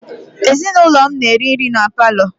Ezinụlọ m na-eri nri na paalọ.